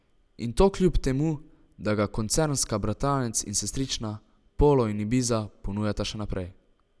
In to kljub temu, da ga koncernska bratranec in sestrična, polo in ibiza, ponujata še naprej.